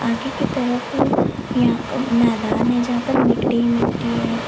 आगे की तरफ या अ मैदान है जहां पर मिट्टी मिट्टी है।